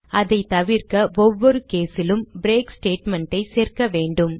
அதை தவிர்க்க ஒவ்வொரு case லும் பிரேக் statement ஐ சேர்க்க வேண்டும்